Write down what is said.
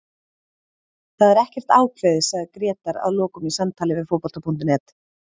Það er ekkert ákveðið, sagði Grétar að lokum í samtali við Fótbolta.net.